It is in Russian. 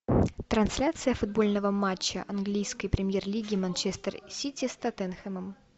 трансляция футбольного матча английской премьер лиги манчестер сити с тоттенхэмом